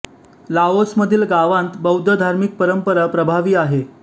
Laos मधील गावांत बौद्ध धार्मिक परंपरा प्रभावी आहे